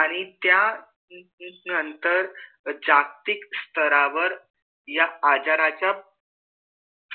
आणि त्या नंतर जागतिक स्तरावर या आजराचा